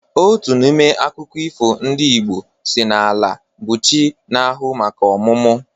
Otu n'ime akụkọ ifo ndị Igbo si n'Ala bụ chi na-ahụ maka ọmụmụ.